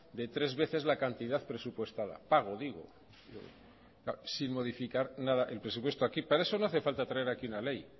de tres veces la cantidad presupuestada pago digo claro sin modificar nada el presupuesto aquí para eso no hace falta traer aquí una ley